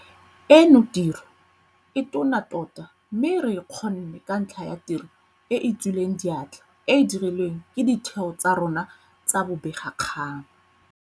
Eno tiro e tona tota mme re e kgonne ka ntlha ya tiro e e tswileng diatla e e dirilweng ke ditheo tsa rona tsa bobegakgang.